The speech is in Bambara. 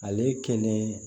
Ale kɛnɛ